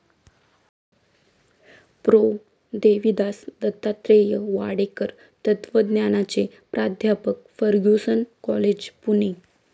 Pro. Devidas Dattatreya Wadekar, तत्वज्ञानाचे प्राध्यापक, Fergusson college, Pune